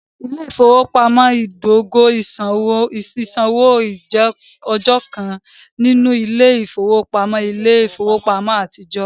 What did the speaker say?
Ile-ifowopamọ idogo sisanwo jẹ ọkan ninu ile-ifowopamọ ile-ifowopamọ atijọ.